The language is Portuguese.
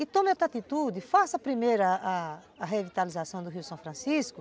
E tome outra atitude, faça primeiro a a revitalização do Rio São Francisco,